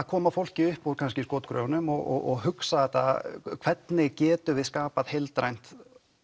koma fólki upp úr skotgröfunum og hugsa þetta hvernig við getum skapað heildrænt